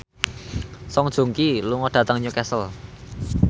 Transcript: Song Joong Ki lunga dhateng Newcastle